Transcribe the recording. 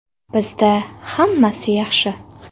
Bizda hammasi yaxshi.